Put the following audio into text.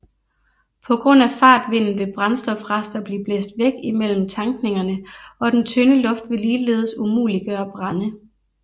På grund af fartvinden vil brændstofrester blive blæst væk imellem tankningerne og den tynde luft vil ligeledes umuliggøre brande